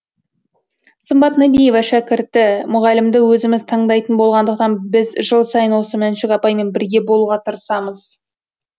сымбат нәбиева шәкірті мұғалімді өзіміз таңдайтын болғандықтан біз жыл сайын осы мәншүк апаймен бірге болуға тырысамыз